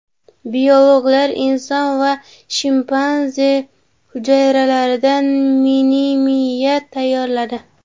Biologlar inson va shimpanze hujayralaridan mini-miya tayyorladi.